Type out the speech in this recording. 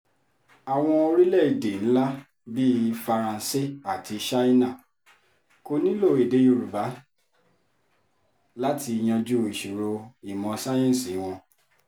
àwọn orílẹ̀‐èdè ńlá bíi faransé àti ṣáínà kò nílò èdè òyìnbó láti yanjú ìṣòro ìmọ̀ sáyẹ́ǹsì wọn